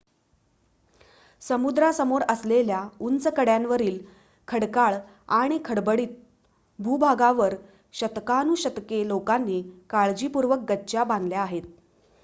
समुद्रासमोर असलेल्या उंच कड्यांवरील खडकाळ आणि खडबडीत भूभागावर शतकानुशतके लोकांनी काळीपूर्वक गच्च्या बांधल्या आहेत